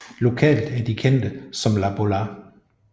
Lokalt er de kendte som Las Bolas